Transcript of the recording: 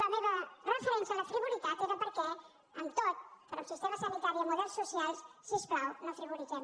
la meva referència a la frivolitat era perquè en tot però en sistema sanitari i en models socials si us plau no frivolitzem